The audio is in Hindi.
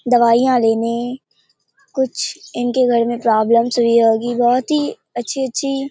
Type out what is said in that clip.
दवाइयाँ लेने कुछ इनके घर मे प्रॉब्लम्स हुई होगी बहुत ही अच्छी-अच्छी।